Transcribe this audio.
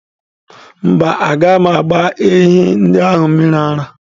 Mba, agaghị m agba ehi ndị ahụ mmiri ara.